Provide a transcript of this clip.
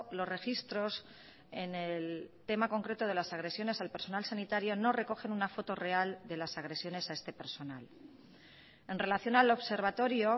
los registros en el tema concreto de las agresiones al personal sanitario no recogen una foto real de las agresiones a este personal en relación al observatorio